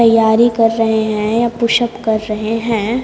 तैयारी कर रहे हैं या पुश अप कर रहे हैं।